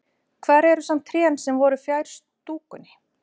Hvar eru samt trén sem voru fjær stúkunni?